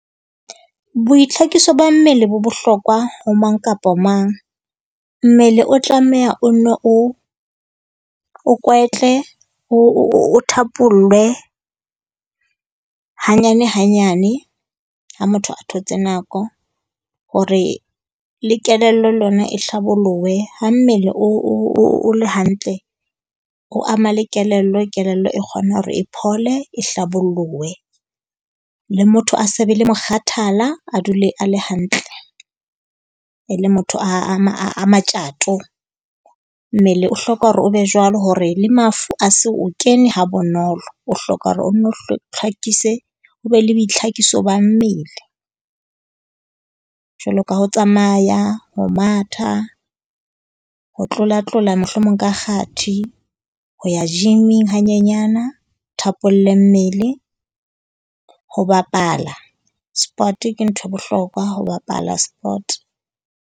Boitlhokiso ba mmele bo bohlokwa ho mang kapa mang. Mmele o tlameha o nne o o kwetle, o thapollwe hanyane hanyane. Ha motho a thotse nako hore le kelello le yona e hlabollohe, ha mmele o le hantle o ama le kelello. Kelello e kgona hore e phole e hlabollohe. Le motho a se be le mokgathala, a dule a le hantle, e le motho a matjato. Mmele o hloka hore o be jwalo hore le mafu a se o kene ha bonolo. O hloka hore o nne tlhakise o be le boitlhakiso ba mmele, jwalo ka ho tsamaya. Ho matha, ho tlolatlola mohlomong ka kgathi, ho ya gym-ing hanyenyana, o thapolle mmele. Ho bapala sport ke nthwe e bohlokwa, ho bapala sport.